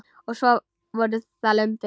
Og svo voru það lömbin.